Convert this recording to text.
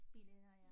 Biletter ja